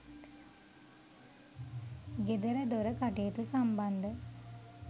ගෙදරදොර කටයුතු සම්බන්ධ